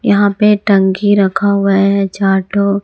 यहां पे टंकी रखा हुआ है चार ठो।